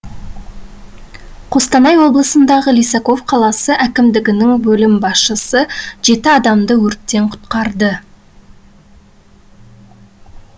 қостанай облысындағы лисаков қаласы әкімдігінің бөлім басшысы жеті адамды өрттен құтқарды